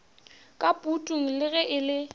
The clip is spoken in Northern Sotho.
ka putung le ge e